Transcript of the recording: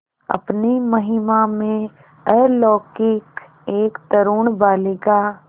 अपनी महिमा में अलौकिक एक तरूण बालिका